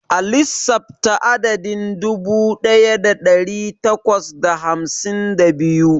A lissafta adadin dubu ɗaya da ɗari takwas da hamsin da biyu.